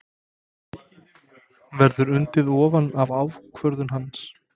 Verður undið ofan af ákvörðun hans?